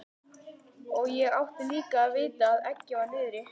Og ég átti líka að vita að eggið var niðri.